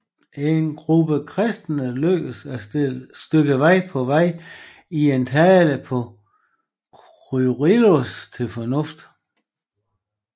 En gruppe kristne lykkedes et stykke på vej i at tale Kyrillos til fornuft